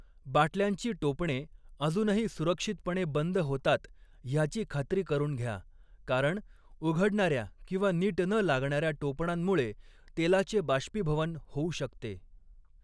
बाटल्यांची टोपणे अजूनही सुरक्षितपणे बंद होतात ह्याची खात्री करून घ्या, कारण उघडणाऱ्या किंवा नीट न लागणाऱ्या टोपणांमुळे तेलाचे बाष्पीभवन होऊ शकते.